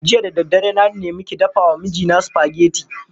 Jiya da daddare na nemi ki dafa wa mijina spaghetti.